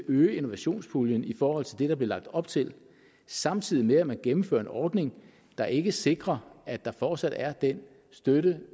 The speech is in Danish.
øge innovationspuljen i forhold til det der bliver lagt op til samtidig med at man gennemfører en ordning der ikke sikrer at der fortsat er den støtte